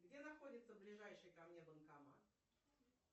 где находится ближайший ко мне банкомат